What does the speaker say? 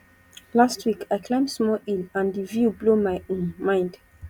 last week i climb small hill and di view blow my um mind